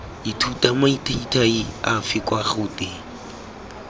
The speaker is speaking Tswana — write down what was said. ithuta mathaithai afe kwa gouteng